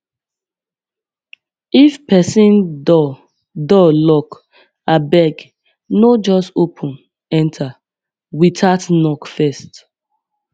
if pesin door door lock abeg no just open enter without knock first